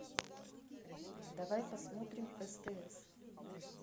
давай посмотрим стс